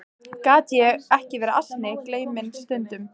Gat ég ekki verið ansi gleyminn stundum?